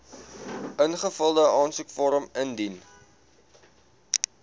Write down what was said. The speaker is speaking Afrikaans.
ingevulde aansoekvorm indien